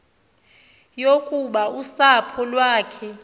yokuba usapho lwakhe